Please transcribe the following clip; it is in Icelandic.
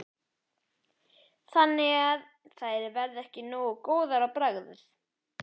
Þannig að þær verða ekki nógu góðar á bragðið?